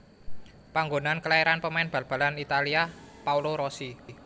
Panggonan kelairan pemain bal balan Italia Paolo Rossi